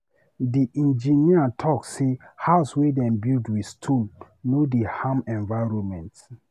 Di engineer talk sey house wey dem build with stone no dey harm environment.